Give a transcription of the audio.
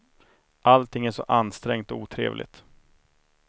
Allting är så ansträngt och otrevligt.